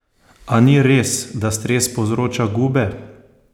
A ni res, da stres povzroča gube?